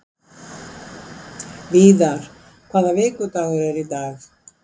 Víðar, hvaða vikudagur er í dag?